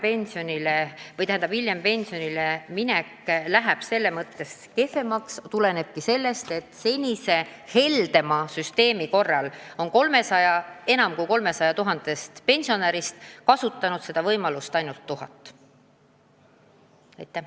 See, et hiljem pensionile minek läheb selles mõttes kehvemaks, tulenebki sellest, et senise heldema süsteemi korral on enam kui 300 000-st pensionärist seda võimalust kasutanud ainult tuhat.